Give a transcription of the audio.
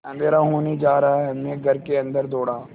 अँधेरा होने जा रहा है मैं घर के अन्दर दौड़ा